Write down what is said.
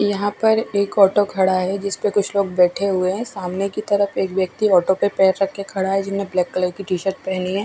यह पर एक ऑटो खड़ा है जिसपे कुछ लोग बेठे हुए है सामने की तरफ एक व्यक्ति ऑटो पर पैर रख के खड़ा हुआ है जिसने ब्लैक कलर की टी-शर्ट पहनी --